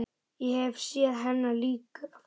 Ég hef séð hennar líka fyrr.